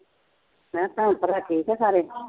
ਮੈਂ ਕਿਹਾ ਭੈਣ ਭਰਾ ਠੀਕ ਆ ਸਾਰੇ